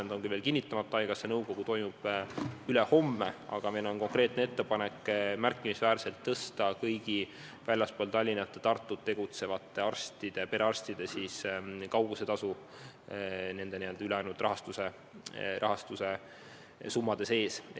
See on küll veel kinnitamata, haigekassa nõukogu toimub ülehomme, aga meil on konkreetne ettepanek märkimisväärselt tõsta kõigi väljaspool Tallinna ja Tartut tegutsevate perearstide nn kaugusetasu nende ülejäänud rahastuse summade sees.